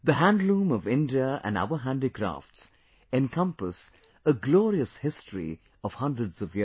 The Handloom of India and our Handicrafts encompass a glorious history of hundreds of years